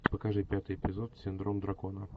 покажи пятый эпизод синдром дракона